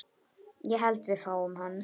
Ég held við fáum hann.